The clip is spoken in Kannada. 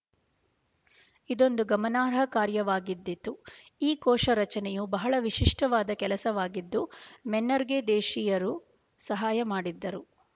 ಇದೊಂದು ಗಮನಾರ್ಹ ಕಾರ್ಯವಾಗಿದ್ದಿತು ಈ ಕೋಶ ರಚನೆಯು ಬಹಳ ವಿಶಿಷ್ಟವಾದ ಕೆಲಸವಾಗಿದ್ದು ಮೆನ್ನರ್‍ಗೆ ದೇಶೀಯರು ಸಹಾಯ ಮಾಡಿದ್ದರು